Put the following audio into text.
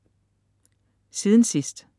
Siden sidst